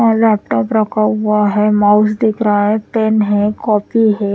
Laptop रखा हुआ है माउस दिख रहा है पेन है कॉपी है ।